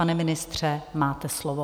Pane ministře, máte slovo.